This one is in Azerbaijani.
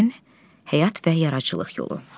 Şairin həyat və yaradıcılıq yolu.